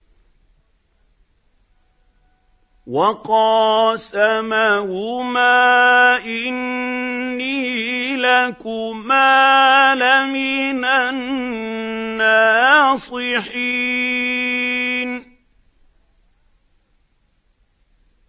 وَقَاسَمَهُمَا إِنِّي لَكُمَا لَمِنَ النَّاصِحِينَ